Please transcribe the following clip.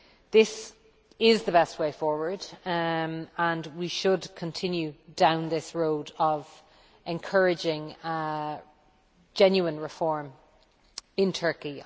This is the best way forward, and we should continue down this road of encouraging genuine reform in Turkey.